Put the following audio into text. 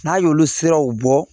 N'a y'olu siraw bɔ